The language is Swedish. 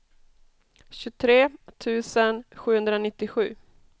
tjugotre tusen sjuhundranittiosju